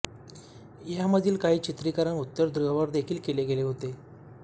ह्यामधील काही चित्रिकरण उत्तर ध्रुवावर देखील केले गेले होते